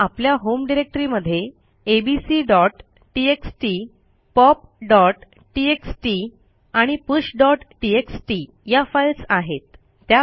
समजा आपल्या होम डिरेक्टरीमध्ये abcटीएक्सटी popटीएक्सटी आणि pushटीएक्सटी या फाईल्स आहेत